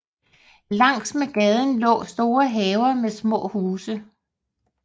Langs med gaden lå store haver med små huse